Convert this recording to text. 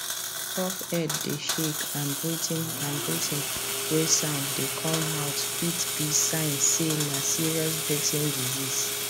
coughhead dey shake and breathing and breathing way sound dey come out fit be sign say na serious breathing disease